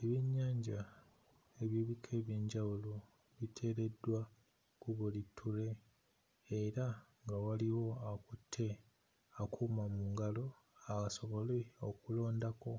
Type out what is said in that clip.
Ebyennyanja eby'ebika eby'enjawulo biteereddwa ku buli ttule era nga waliwo akutte akuuma mu ngalo asobole okulondako